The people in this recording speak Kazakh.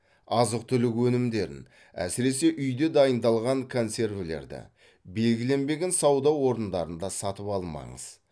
азық түлік өнімдерін әсіресе үйде дайындалған консервілерді белгіленбеген сауда орындарында сатып алмаңыз